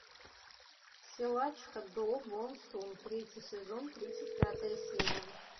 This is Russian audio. силачка до бон сун третий сезон тридцать пятая серия